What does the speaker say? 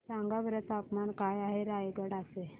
सांगा बरं तापमान काय आहे रायगडा चे